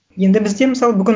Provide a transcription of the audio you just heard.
енді бізде мысалы бүгін